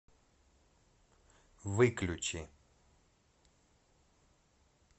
выключи